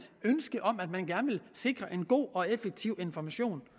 ønske om at man gerne ville sikre en god og effektiv information